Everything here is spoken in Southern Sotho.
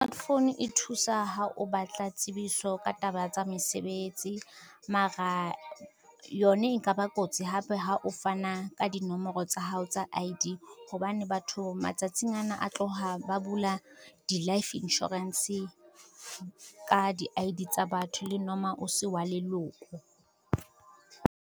Foune e thusa ha o batla tsebiso ka taba tsa mesebetsi. Mara yona e nka ba kotsi hape ha o fana ka dinomoro tsa hao tsa I_D, hobane batho matsatsing ana a tloha bula di-life insurance ka di I_D tsa batho le noma o se wa leloko.